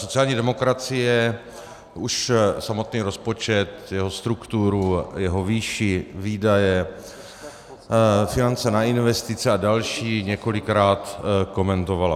Sociální demokracie už samotný rozpočet, jeho strukturu, jeho výši, výdaje, finance na investice a další několikrát komentovala.